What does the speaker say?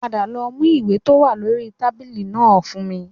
Padà lọ mú ìwé tó wà lórí tábìlì náà fún mi